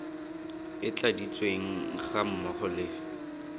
e tladitsweng ga mmogo le